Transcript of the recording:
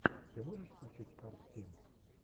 ты можешь включить арттим